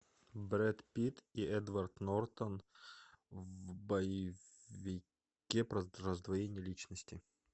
брэд питт и эдвард нортон в боевике про раздвоение личности